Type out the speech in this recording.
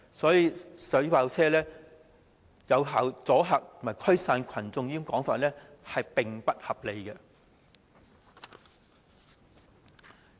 所以，水炮車能有效阻嚇和驅散群眾的說法並不成立。